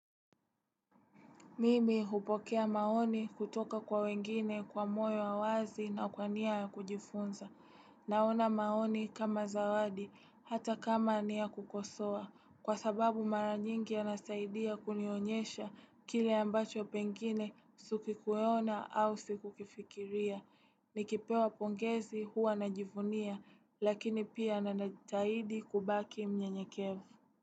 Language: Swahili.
Mimi hupokea maoni kutoka kwa wengine kwa moyo wa wazi na kwa niya ya kujifunza. Naona maoni kama zawadi, hata kama ni ya kukosoa. Kwa sababu mara nyingi yanasaidia kunionyesha kile ambacho pengine sikikueona au sikukifikiria. Nikipewa pongezi huwa najivunia, lakini pia nanajitahidi kubaki mnyenyekevu.